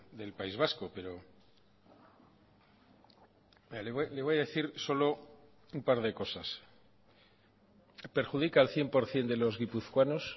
del país vasco pero le voy a decir solo un par de cosas perjudica al cien por ciento de los guipuzcoanos